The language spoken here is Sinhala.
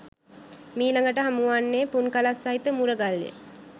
මීළඟට හමුවන්නේ පුන්කලස් සහිත මුරගල්ය.